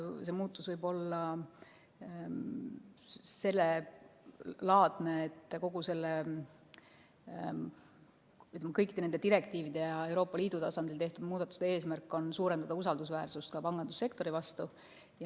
See muutus võib olla seotud sellega, et kõikide nende direktiivide ja Euroopa Liidu tasandil tehtud muudatuste eesmärk on suurendada usaldusväärsust pangandussektori vastu.